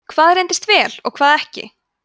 hvað reyndist vel og hvað ekki